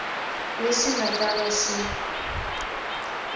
leswi nga ta va swi